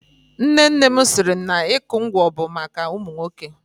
Nne nne m siri na ịkụ ngwọ bụ maka ụmụ nwoke.